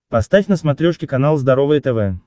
поставь на смотрешке канал здоровое тв